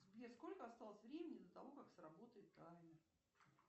сбер сколько осталось времени до того как сработает таймер